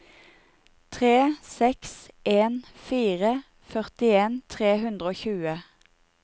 tre seks en fire førtien tre hundre og tjue